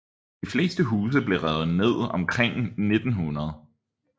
De fleste af husene blev revet ned omkring 1900